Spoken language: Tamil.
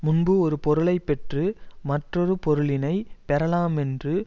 முன்பு ஒரு பொருளை பெற்று மற்றொரு பொருளினைப் பெறலாமென்று